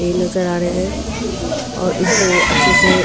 ए नजर आ रहे है और इसको अच्छे से --